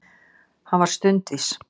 Hann var stundvís.